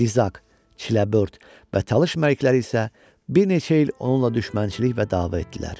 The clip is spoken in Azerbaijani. Dizak, Çiləbörd və Talış məlikləri isə bir neçə il onunla düşmənçilik və dava etdilər.